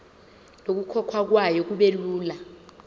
nokukhokhwa kwayo kubelula